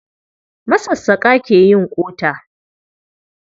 Masassaƙa ke yin ƙota. Local carpebters make hoe handles.